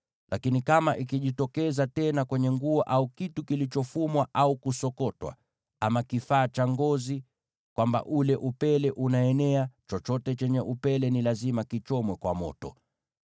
Lakini kama ikijitokeza tena kwenye nguo au kitu kilichofumwa au kusokotwa, ama kifaa cha ngozi, kwamba ule upele unaenea, chochote chenye upele ni lazima kichomwe kwa moto.